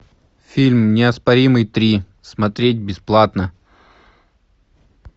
фильм неоспоримый три смотреть бесплатно